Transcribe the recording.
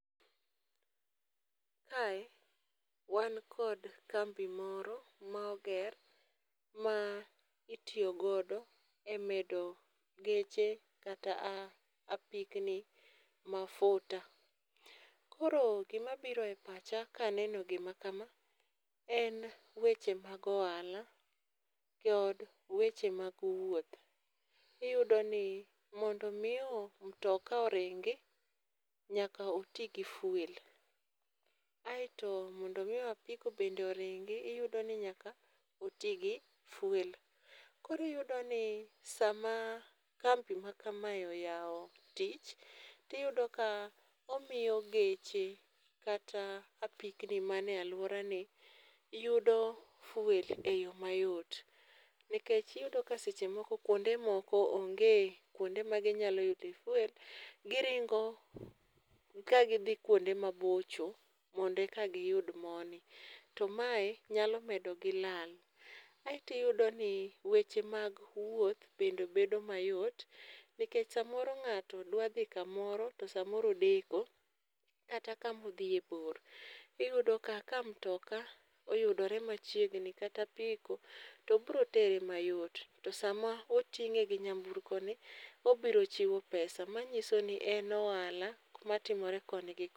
Kae wan kod kambi moro ma oger ma itiyo godo emedo geche kata apikni mafuta. Koro gima biro e pacha kaneno gima chalo kama en weche mag ohala kod weche mag wuoth. Iyudo ni mondo mi mutoka oringi nyaka oti gi fuel. Aeto mondo mi apiko bende oringi nyaka oti gi fuel. Koro iyudo ni sama kambi makama oyawo tich, to iyudo ka omiyo geche kata apikni manie aluorani yudo fuel eyo mayot nikech iyudo ka seche moko kuonde moko onge kuonde ma ginyalo yude fuel giringo ka gidhi kuonde mabocho mondo eka giyud mo ni to mae nyalo medogi lal. Kaeto iyudo ni weche mag wuoth bende bedo mayot. Noikech samoro ng'ato dwa dhi kamoro to samoro odeko kata kama odhiye bor, iyudo ka mitoka oyudore machiegni kata apiko to biro tere mayot. To sama oting'e gi nyamburkoni obiro chulo pesa manyiso ni en ohala matimore koni gi ko.